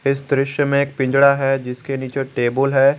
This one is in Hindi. इस दृश्य में एक पिंजड़ा है जिसके नीचे टेबल है।